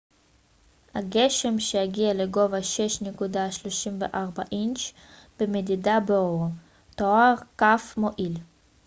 הגשם שהגיע לגובה 6.34 אינץ' במדידה באואהו תואר כ מועיל